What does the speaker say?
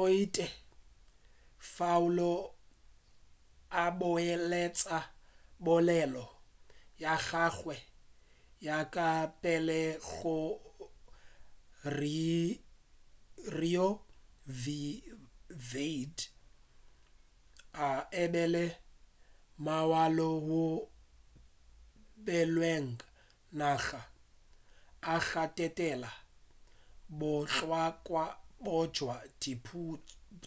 o ile kafao a boeletša polelo ya gagwe ya ka pele gore roe v wade e be e le molao wo o beilwego wa naga a gatelela bohlokwa bja